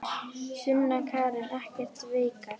Sunna Karen: Ekki veikar?